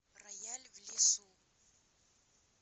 рояль в лесу